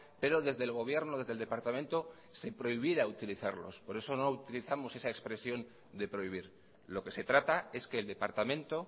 pero desde el gobierno desde el departamento se prohibiera utilizarlos por eso no utilizamos esa expresión de prohibir lo que se trata es que el departamento